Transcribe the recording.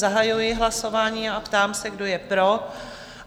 Zahajuji hlasování a ptám se, kdo je pro?